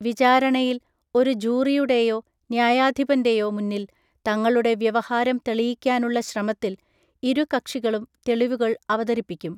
വിചാരണയിൽ, ഒരു ജൂറിയുടെയോ ന്യായാധിപൻ്റെയോ മുന്നിൽ തങ്ങളുടെ വ്യവഹാരം തെളിയിക്കാനുള്ള ശ്രമത്തിൽ, ഇരുകക്ഷികളും തെളിവുകൾ അവതരിപ്പിക്കും.